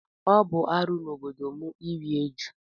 Ọ bụ arụ n'obodo m iri ejù.